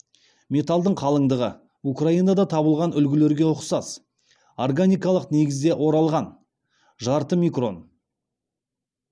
металлдың қалыңдығы украинада табылған үлгілерге ұқсас органикалық негізде оралған жарты микрон